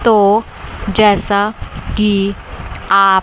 तो जैसा की आप--